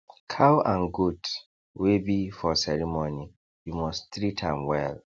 cow and goat wey be for ceremony you must treat am well